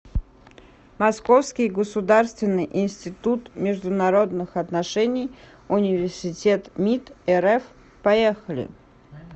московский государственный институт международных отношений университет мид рф поехали